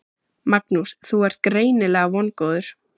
Magnús: Þú ert greinilega vongóður?